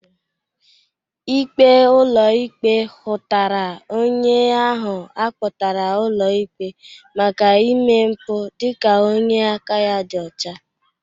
Ikpe ụlọ ikpe hụtara onye ahụ akpọtara ụlọ ikpe maka ime mpụ dịka onye aka ya dị ọcha.